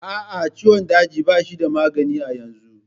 A'a, ciwon daji ba shi da magani a yanzu.